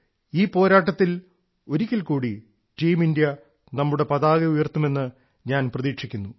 ഈ പോരാട്ടത്തിൽ ഒരിക്കൽക്കൂടി ടീം ഇന്ത്യ നമ്മുടെ പതാക ഉയർത്തും എന്ന് ഞാൻ പ്രതീക്ഷിക്കുന്നു